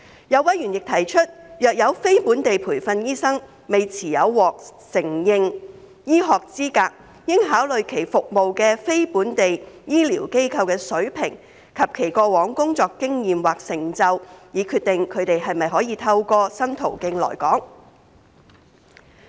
有委員亦提出，若有非本地培訓醫生未持有獲承認醫學資格，應考慮其服務的非本地醫療機構的水平及其過往工作經驗或成就，以決定他們可否透過新途徑來港。